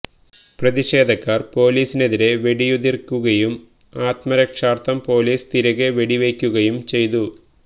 പ്രതിഷേധക്കാര് പൊലീസിനെതിരെ വെടിയുതിര്ക്കുകയും ആത്മരക്ഷാര്ഥം പൊലീസ് തിരികെ വെടിവെക്കുകയും ചെയ്തു